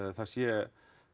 það sé